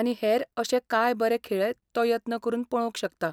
आनी हेर अशे कांय बरे खेळ तो यत्न करून पळोवंक शकता.